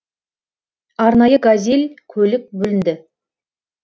арнайы газель көлік бөлінді